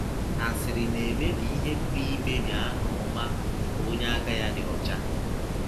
Asịrị na - emebi ihe pụrụ imebi aha ọma nke onye aka ya dị ọcha.